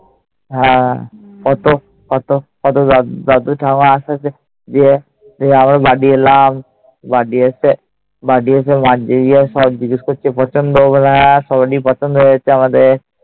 হ্যাঁ। কত কত কত দাদু-ঠাম্মা আস্তে আস্তে, দিয়ে আমরা বাড়ি এলাম। বাড়ি এসে সবাই জিজ্ঞেস করছে পছন্দ? বলে হ্যাঁ, সবারই পছন্দ হয়েছে আমাদের।